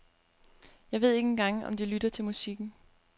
Jeg ved ikke engang om de lytter til musikken.